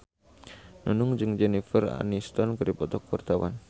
Nunung jeung Jennifer Aniston keur dipoto ku wartawan